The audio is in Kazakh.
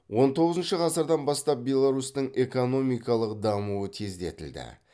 он тоғызыншы ғасырдан бастап беларусьтің экономикалық дамуы тездетілді